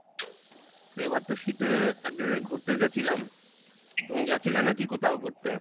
এবার তো শীতে এক জায়গাই ঘুরতে গেছিলাম, তুমি গেছিলে নাকি কোথাও ঘুরতে?